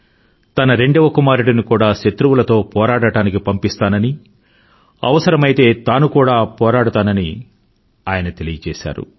తన రెండవ కుమారుడిని కూడా శత్రువులతో పోరాడటానికి పంపిస్తానని అవసరమైతే తాను కూడా పోరాడతానని తెలిపారు